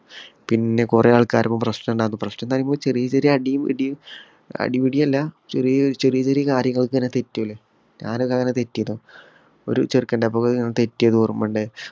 പിന്നെ കൊറേ ആള്ക്കാര് പ്രശ്നമുണ്ടാക്കും. പ്രശ്നം എന്ന് പറഞ്ഞാൽ ചെറിയ ചെറിയ അടിയും ഇടിയും അടിപിടി അല്ല ചെറിയ ചെറിയ കാര്യങ്ങൾക്ക് വരെ ഇങ്ങനെ തെറ്റൂലോ. ഞാൻ ഒക്കെ അങ്ങനെ തെറ്റീനു. ഒരു ചെറുക്കന്റെ തെറ്റിയത് ഓര്‍മ്മണ്ട്.